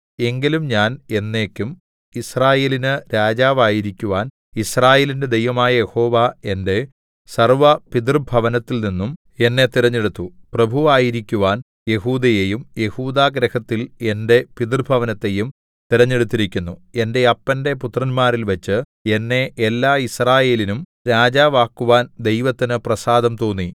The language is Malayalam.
എങ്കിലും ഞാൻ എന്നേക്കും യിസ്രായേലിന് രാജാവായിരിക്കുവാൻ യിസ്രായേലിന്റെ ദൈവമായ യഹോവ എന്റെ സർവ്വപിതൃഭവനത്തിൽനിന്നും എന്നെ തിരഞ്ഞെടുത്തു പ്രഭുവായിരിക്കുവാൻ യെഹൂദയെയും യെഹൂദാഗൃഹത്തിൽ എന്റെ പിതൃഭവനത്തെയും തിരഞ്ഞെടുത്തിരിക്കുന്നു എന്റെ അപ്പന്റെ പുത്രന്മാരിൽവച്ച് എന്നെ എല്ലാ യിസ്രായേലിനും രാജാവാക്കുവാൻ ദൈവത്തിനു പ്രസാദം തോന്നി